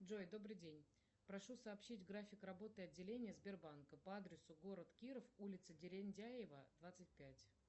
джой добрый день прошу сообщить график работы отделения сбербанка по адресу город киров улица дерендяева двадцать пять